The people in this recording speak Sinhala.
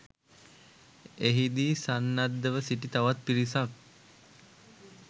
එහිදී සන්නද්ධව සිටි තවත් පිරිසක්